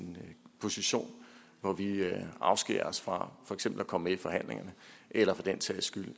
en position hvor vi afskærer os fra for eksempel at komme med i forhandlingerne eller for den sags skyld